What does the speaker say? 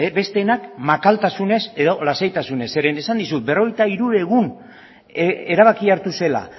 besteenak makaltasunez edo lasaitasunez zeren esan dizut berrogeita hiru egun erabakia hartu zela